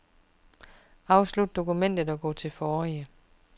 Afslut dokument og gå til forrige.